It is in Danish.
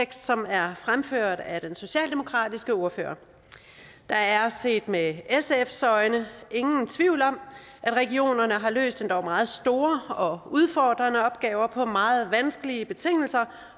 som er fremført af den socialdemokratiske ordfører der er set med sfs øjne ingen tvivl om at regionerne har løst endog meget store og udfordrende opgaver på meget vanskelige betingelser